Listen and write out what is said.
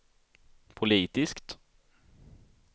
politiskt